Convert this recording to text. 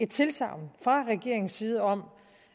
tilsagn fra regeringens side om